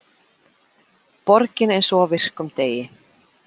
Borgin eins og á virkum degi